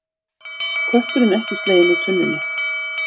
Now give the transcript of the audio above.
Kötturinn ekki sleginn úr tunnunni